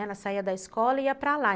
Ela saía da escola e ia para lá.